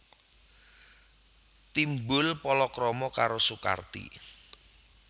Timbul palakrama karo Sukarti